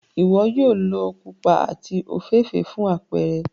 Iwọ yoo lo pupa ati ofeefee fun apẹrẹ.